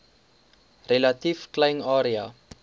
relatief klein area